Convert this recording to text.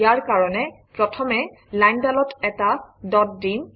ইয়াৰ কাৰণে প্ৰথমে লাইনডালত এটা ডট দিম